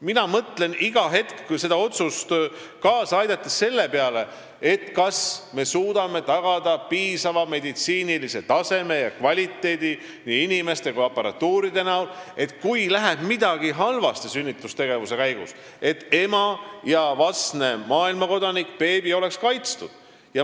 Mina mõtlen iga hetk sellele otsusele kaasa aidates selle peale, kas me suudame tagada piisava meditsiinilise taseme ja teenuse kvaliteedi, nii kvaliteetse personali kui ka aparatuuri, et kui midagi läheb sünnitustegevuse käigus halvasti, siis ema ja vastne maailmakodanik, beebi, oleksid kaitstud.